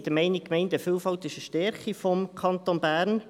Wir sind der Meinung, die Gemeindevielfalt sei eine Stärke des Kantons Bern.